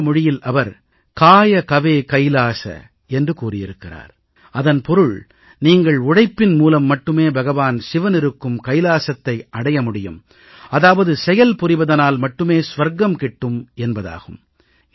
கன்னட மொழியில் அவர் காய கவே கைலாஸ என்று கூறியிருக்கிறார் அதன் பொருள் நீங்கள் உழைப்பின் மூலம் மட்டுமே பகவான் சிவனிருக்கும் கைலாசத்தை அடைய முடியும் அதாவது செயல் புரிவதனால் மட்டுமே சுவர்க்கம் கிட்டும் என்பதாகும்